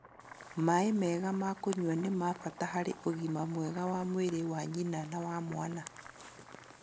Maĩ mega ma kũnyua nĩ ma bata harĩ ũgima mwega wa mwĩrĩ wa nyina na wa mwana.